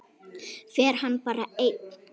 Fer hann bara einn?